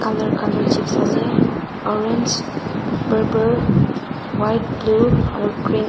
colour chips ase orange parpar white blue aro green .